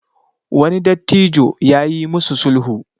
wani dattijo ya yi musu sulhu